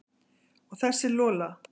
Og þessi Lola.